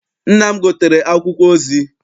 Nna m gotere akwụkwọ ozi.